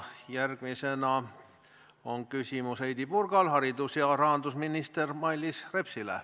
Järgmisena on Heidy Purgal küsimus haridus- ja rahandusminister Mailis Repsile.